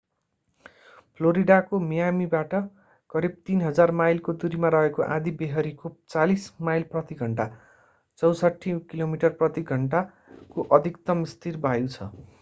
फ्लोरिडाको मियामीबाट करीब 3,000 माइलको दूरीमा रहेको आँधीबेहरीको 40 माइल प्रति घण्टा 64 किलोमिटर प्रति घण्टा को अधिकतम स्थिर वायु छ।